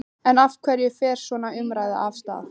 En af hverju fer svona umræða af stað?